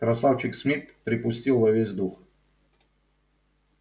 красавчик смит припустил во весь дух